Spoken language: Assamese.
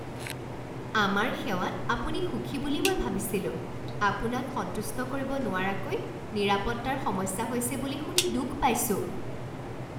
আমাৰ সেৱাত আপুনি সুখী বুলি মই ভাবিছিলোঁ। আপোনাক সন্তুষ্ট কৰিব নোৱৰাকৈ নিৰাপত্তাৰ সমস্যা হৈছে বুলি শুনি দুখ পাইছো।